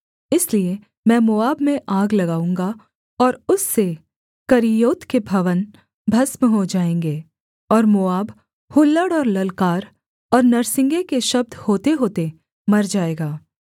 इसलिए मैं मोआब में आग लगाऊँगा और उससे करिय्योत के भवन भस्म हो जाएँगे और मोआब हुल्लड़ और ललकार और नरसिंगे के शब्द होतेहोते मर जाएगा